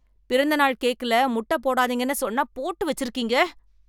பிறந்தநாள் கேக்கல முட்டை போடாதீங்கன்னு சொன்னா போட்டு வச்சிருக்கீங்க